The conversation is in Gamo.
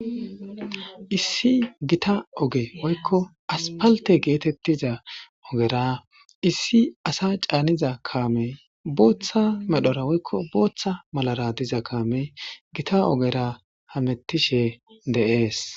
Issi Gita oge woyko asphalte getetiza issi as caaniza kaamey bootha medhora woyko bootha malara diza kaameyi Gita ogera hametishe de'esi.